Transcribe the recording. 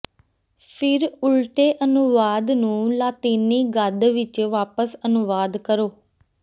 ਫਿਰ ਉਲਟੇ ਅਨੁਵਾਦ ਨੂੰ ਲਾਤੀਨੀ ਗੱਦ ਵਿਚ ਵਾਪਸ ਅਨੁਵਾਦ ਕਰੋ